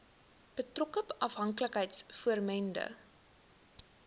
betrokke afhanklikheids vormende